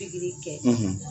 kɛ